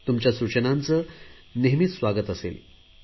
तुमच्या सूचनांचे मी नेहमीच स्वागत करेन